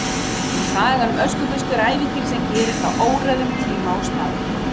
Sagan um Öskubusku er ævintýri sem gerist á óræðum tíma og stað.